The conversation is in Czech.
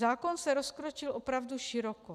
Zákon se rozkročil opravdu široko.